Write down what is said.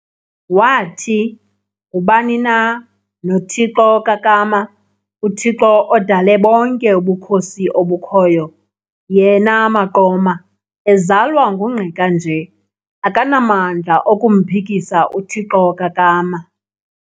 wathi, -"Ngubani na noThixo kaKama, uThixo odale bonke ubukhosi obukhoyo, yena, Maqoma, ezalwa nguNgqika nje, akanamandla okumphikisa uThixo kaKama."